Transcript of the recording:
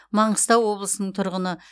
маңғыстау облысының тұрғыны